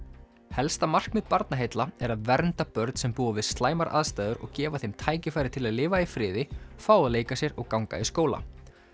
helsta markmið Barnaheilla er að vernda börn sem búa við slæmar aðstæður og gefa þeim tækifæri til að lifa í friði fá að leika sér og ganga í skóla